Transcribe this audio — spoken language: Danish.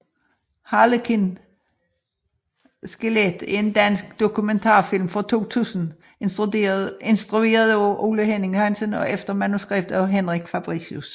Harlekin skelet er en dansk dokumentarfilm fra 2000 instrueret af Ole Henning Hansen og efter manuskript af Henrik Fabricius